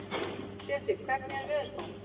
Sesil, hvernig er veðurspáin?